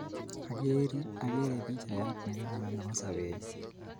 Akerin akere pichaiyat ne kararan nepo sobennyu.